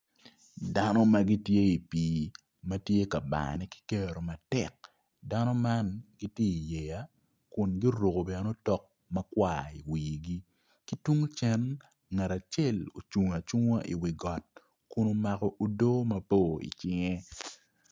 Dano ma tye i pii ma tye ka bane ki kero matek dano man gitye iyeya kun guruko bene otok makwar iwigi ki tung cen ngat acel ocunga acunga iwi got kun omako odo mabor icinge.